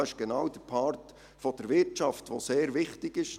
Dies ist genau der Part der Wirtschaft, der sehr wichtig ist.